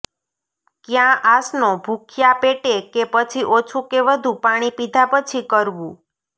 કયા આસનો ભૂખ્યા પેટે કે પછી ઓછું કે વધુ પાણી પીધા પછી કરવું